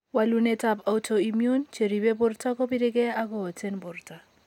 Walunetab autoimmune, cheribe borto kobire gee ak kooten borto.